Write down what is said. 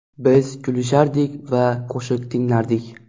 Biz kulishardik va qo‘shiq tinglardik.